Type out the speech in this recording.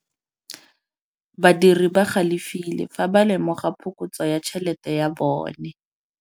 Badiri ba galefile fa ba lemoga phokotsô ya tšhelête ya bone.